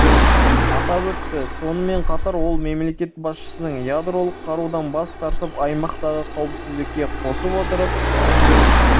атап өтті сонымен қатар ол мемлекет басшысының ядролық қарудан бас тартып аймақтағы қауіпсіздікке қосып отырған